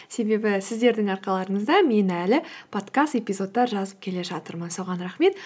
себебі сіздердің арқаларыңызда мен әлі подкаст эпизодтар жазып келе жатырмын соған рахмет